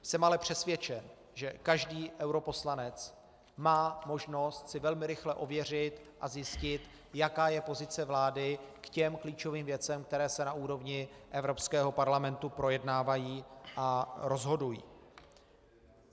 Jsem ale přesvědčen, že každý europoslanec má možnost si velmi rychle ověřit a zjistit, jaká je pozice vlády k těm klíčovým věcem, které se na úrovni Evropského parlamentu projednávají a rozhodují.